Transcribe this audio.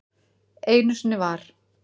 Einu sinni var.